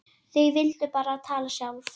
Þau vildu bara tala sjálf.